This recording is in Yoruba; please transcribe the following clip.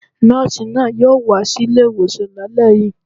Nọ́ọ̀sì náà yóò wá sí ilé-ìwòsàn lálẹ́ yìí